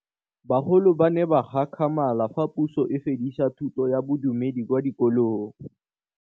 Bagolo ba ne ba gakgamala fa Pusô e fedisa thutô ya Bodumedi kwa dikolong.